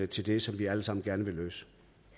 til det som vi alle sammen gerne vil løse